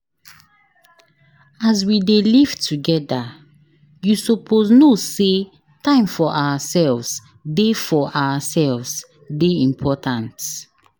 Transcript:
As we dey live togeda, you suppose know sey time for ourselves dey for ourselves dey important.